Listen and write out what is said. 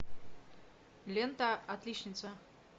лента отличница